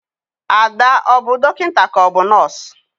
Ada, ọ bu dọkịnta ka ọ bụ nọs?